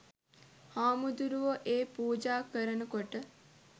හාමුදුරුවො ඒ පූජා කරනකොට